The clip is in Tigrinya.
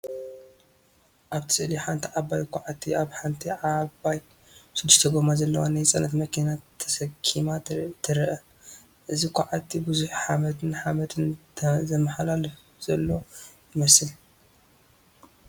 ኣብቲ ስእሊ፡ ሓንቲ ዓባይ ኳዕቲ ኣብ ሓንቲ ዓባይ ሽዱሽተ ጎማ ዘለዋ ናይ ጽዕነት መኪና ተሰኪማ ትርአ። እዚ ኳዕቲ ብዙሕ ሓመድን ሓመድን ዘመሓላልፍ ዘሎ ይመስል።